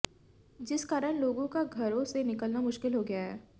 जिस कारण लोगों का घरों से निकला मुश्किल हो गया है